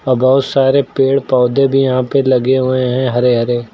और बहुत सारे पेड़ पौधे भी यहां पे लगे हुए हैं हरे हरे।